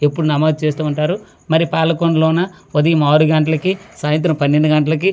ఎప్పుడు నమోదు చేస్తూ ఉంటారు మరి పాలకొండలోన ఉదయం ఆరు గంటలకి సాయంత్రం పన్నెండు గంటలకి--